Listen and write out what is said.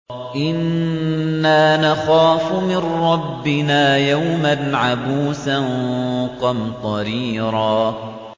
إِنَّا نَخَافُ مِن رَّبِّنَا يَوْمًا عَبُوسًا قَمْطَرِيرًا